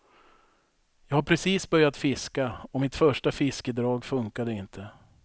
Jag har precis börjat fiska och mitt första fiskedrag funkade inte.